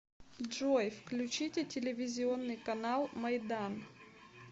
джой включите телевизионный канал майдан